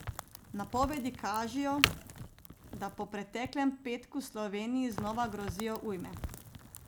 Napovedi kažejo, da po preteklem petku Sloveniji znova grozijo ujme.